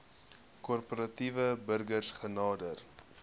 korporatiewe burgers genader